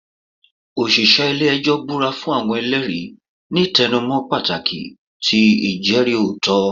Oṣiṣẹ ile-ẹjọ bura fun awọn ẹlẹri, ni tẹnumọ pataki ti ijẹri otitọ.